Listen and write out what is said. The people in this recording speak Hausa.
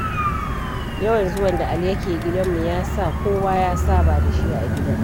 Yawan zuwan da Ali yake gidanmu, ya sa kowa ya saba da shi a gidan.